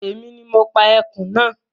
Èmi ni mo pa ẹkùn náà